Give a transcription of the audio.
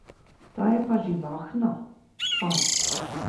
Ta je pa živahna, fant.